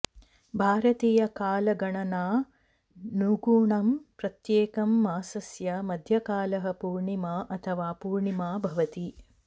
भारतीयकालगणनानुगुणं प्रत्येकं मासस्य मध्यकलः पूर्णिमा अथवा पूर्णिमा भवति